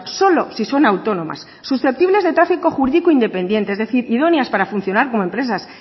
solo si son autónomas susceptibles de trafico jurídico independiente es decir idóneas para funcionar como empresas